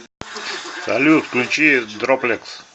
салют включи дроплекс